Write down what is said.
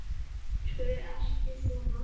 Æptu ekki svona!